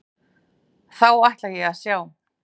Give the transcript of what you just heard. Þá ætla ég að sjá.